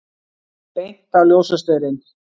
Beint á ljósastaurinn!